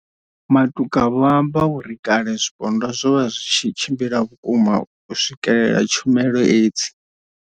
Matuka vho amba uri kale zwipondwa zwo vha zwi tshi tshimbila vhukuma u swikelela tshumelo hedzi.